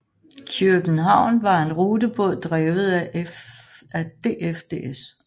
Kjøbenhavn var en rutebåd drevet af DFDS